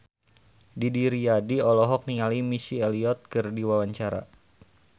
Didi Riyadi olohok ningali Missy Elliott keur diwawancara